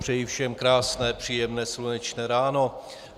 Přeji všem krásné příjemné slunečné ráno.